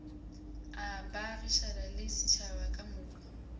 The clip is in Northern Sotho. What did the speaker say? a baagišane le setšhaba kamoka